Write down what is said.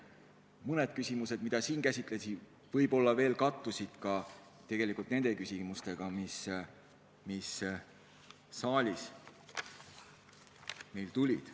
Mõned küsimused, mida ma siin käsitlesin, kattusid tegelikult nende küsimustega, mis täna saalist esitati.